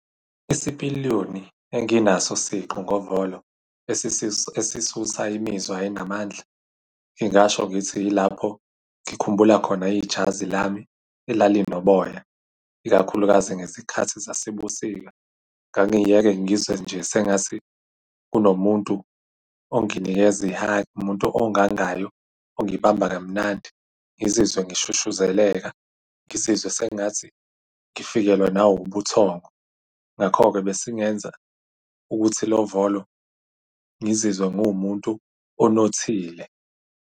Isipiliyoni enginaso siqu ngovolo esisusa imizwa enamandla, ngingasho ngithi yilapho ngikhumbula khona ijazi lami elalinoboya, ikakhulukazi ngezikhathi zasebusika. Ngangiye-ke ngizwe nje sengathi kunomuntu onginikeza i-hug, umuntu ongangayo ongibamba kamnandi ngizizwe ngishushuzeleka, ngizizwe sengathi ngifikelwa nawubuthongo. Ngakho-ke, besingenza ukuthi lo volo ngizizwe ngiwumuntu onothile.